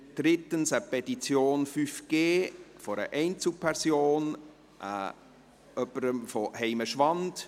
drittens eine Petition «5G» einer Einzelperson aus Heimenschwand;